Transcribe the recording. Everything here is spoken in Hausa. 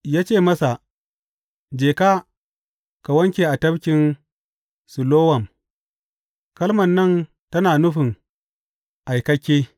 Ya ce masa, Je ka, ka wanke a Tafkin Silowam kalman nan tana nufin Aikakke.